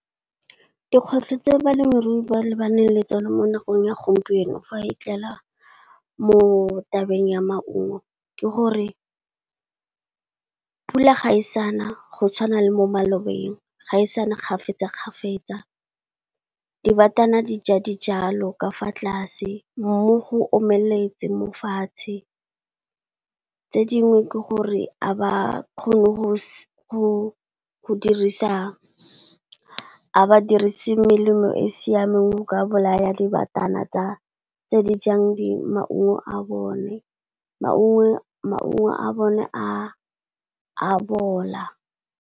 Dikgwetlho tse balemirui ba lebaneng le tsone mo nakong ya gompieno fa e tlela mo tabeng ya maungo, ke gore pula ga e sana go tshwana le mo malobeng, ga e sana kgafetsa-kgafetsa. Dibatana di ja dijalo ka fa tlase, mmu go omeletse mo fatshe. Tse dingwe ke gore a ba kgone go dirisa, a badirisi melemo e e siameng go ka bolaya dibatana tse di jang di maungo a bone, maungo a bone a bola.